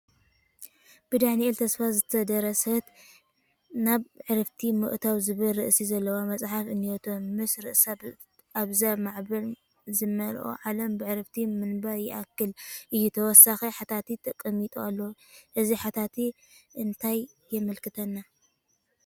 ብዳንኤል ተስፋይ ዝተደረሰት" ናብ ዕረፍቲ ምእታዉ" ዝብል ርእሲ ዘለዋ መፅሓፍ እኔቶ፡፡ ምስ ርእሳ "ኣብዛ ማዕበል ዝመልኣ ዓለም ብዕረፍቲ ምንባር ይከኣል እዩ፡፡" ተወሳኺ ሓተታ ተቐሚጡ ኣሎ፡፡ እዚ ሓተታ እንታይ የመላኽተና?